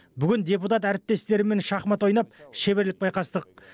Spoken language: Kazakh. бүгін депутат әріптестеріммен шахмат ойнап шеберлік байқастық